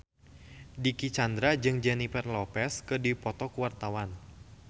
Dicky Chandra jeung Jennifer Lopez keur dipoto ku wartawan